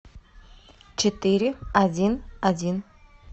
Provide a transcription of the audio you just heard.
четыре один один